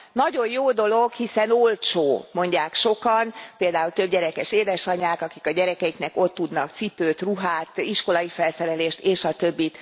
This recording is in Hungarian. Nagyon jó dolog, hiszen olcsó, mondják sokan, például többgyerekes édesanyák, akik a gyerekeiknek ott tudnak cipőt, ruhát, iskolai felszerelést stb.